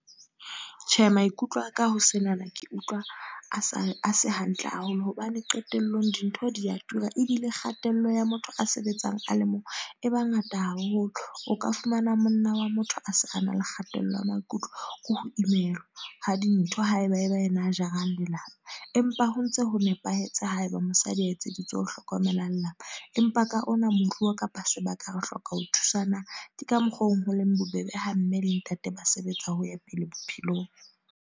Tjhe, maikutlo aka ho senana. Ke utlwa a sa a se hantle haholo. Hobane, qetellong dintho di a tura. Ebile kgatello ya motho a sebetsang a le mong, e bangata haholo. O ka fumana monna wa motho a se a na le kgatello ya maikutlo. Ke ho imelwa, ha dintho haeba ke yena a jarang lelapa. Empa ho ntse ho nepahetse haeba mosadi a etseditswe ho hlokomela lelapa. Empa ka ona moruo kapa sebaka, re hloka ho thusanang. Ke ka mokgwa oo ho leng bobebe ha mme le ntate ba sebetsa ho ya pele bophelong.